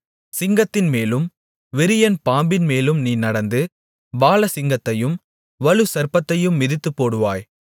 சிங்கத்தின்மேலும் விரியன் பாம்பின்மேலும் நீ நடந்து பாலசிங்கத்தையும் வலுசர்ப்பத்தையும் மிதித்துப்போடுவாய்